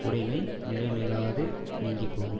உடைமை நிலைநில்லாது நீங்கிப்போகும்